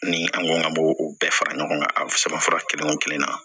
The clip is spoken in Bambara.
Ni an ko an ka bo o bɛɛ fara ɲɔgɔn kan a sɛbɛn fura kelen o kelen na